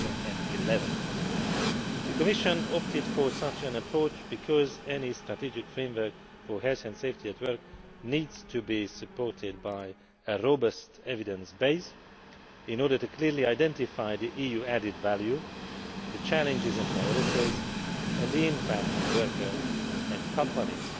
2011. The Commission opted for such an approach because any strategic framework for health and safety at work needs to be supported by a robust evidence base, in order to clearly identify the EU added value, the challenges and priorities, and the impact on workers and companies.